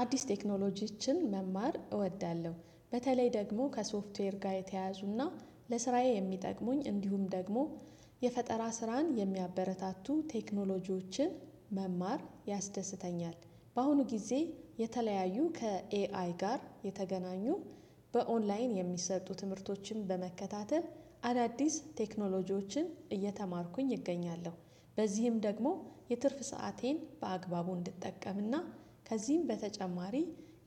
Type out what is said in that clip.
አዲስ ቴክኖሎጂዎችን መማር እወዳለሁ በተለይ ደግሞ ከሶፍትዌር ጋር የተያያዙና ለስራዬ የሚጠቅሙኝ እንዲሁም ደግሞ የፈጠራ ስራን የሚያበረታቱ ቴክኖሎጂዎችን መማር ያስደስተኛል። በአሁኑ ጊዜ የተለያዩ ከኤአይ ጋር የተገናኙ በኦንላይን የሚሰጡ ትምህርቶችን በመከታተል አዳዲስ ቴክኖሎጂዎችን እየተማርኩኝ እገኛለሁ። በዚህም ደግሞ የትርፍ ሰአቴን በአግባቡ እንድጠቀምና ከዚህም በተጨማሪ